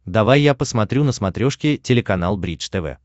давай я посмотрю на смотрешке телеканал бридж тв